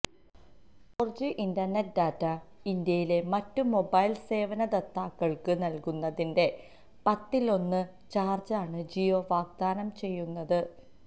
four G internet data ഇന്ത്യയിലെ മറ്റു mobile സേവന ദാതാക്കള്ക്ക് നല്കുന്നതിന്റെ പത്തിലൊന്ന് ചാര്ജിനാണ് ജിയോ വാഗ്ദാനം ചെയ്യുന്നത്